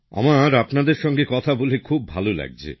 আমার আপনাদের সঙ্গে কথা বলে খুব ভাল লাগছে